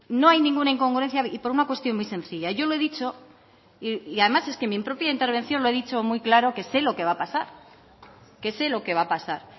no hay ninguna incongruencia y por una cuestión muy sencilla yo no he dicho y además es que en mi propia intervención lo he dicho muy claro que sé lo que va a pasar